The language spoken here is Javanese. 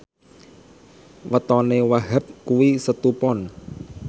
wetone Wahhab kuwi Setu Pon